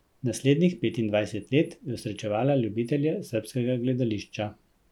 Naslednjih petindvajset let je osrečevala ljubitelje srbskega gledališča.